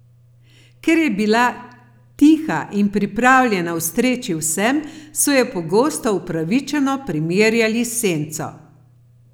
Ker je bila tiha in pripravljena ustreči vsem, so jo pogosto upravičeno primerjali s senco.